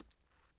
DR K